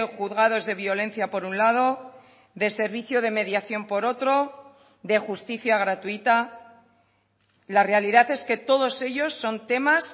juzgados de violencia por un lado de servicio de mediación por otro de justicia gratuita la realidad es que todos ellos son temas